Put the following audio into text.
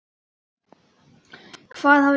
Hvað hafði gerst?